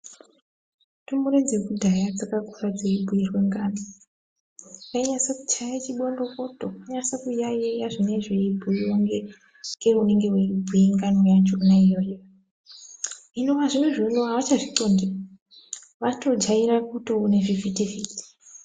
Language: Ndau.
Ndumure dzekudhaya dzakakure dzeibhuirwe ngano. Vainase kuchaya chibondokoto veinase kuyaiya zvinenge zveibhuyiwa ngeunenge eibhuya ngano yachona iyoyo. Hino vemazuwa ano avachatozvixondi vatojaire kutoona zvivhiti vhiti.